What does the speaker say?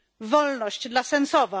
Wolność dla Sencowa!